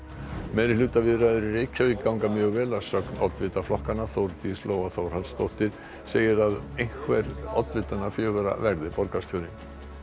meirihlutaviðræður í Reykjavík ganga mjög vel að sögn oddvita flokkanna Þórdís Lóa Þórhallsdóttir segir að einhver oddvitanna fjögurra verði borgarstjóri